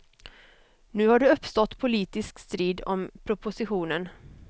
Nu har det uppstått politisk strid om propositionen.